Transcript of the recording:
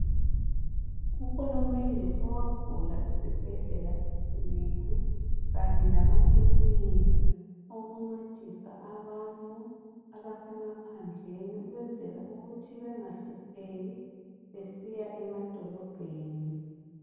Uhulumende sowavula izibhedlela ezinengi kanye lamakilinika okuncedisa abantu abasemaphandleni ukwenzela ukuthi bengahlupheki besiya emadolobheni .